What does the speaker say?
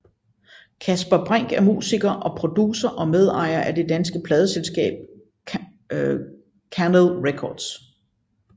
Kasper Brinck er musiker og producer og medejer af det danske pladeselskab Kanel Records